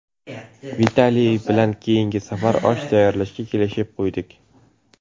Vitaliy bilan keyingi safar osh tayyorlashga kelishib qo‘ydik.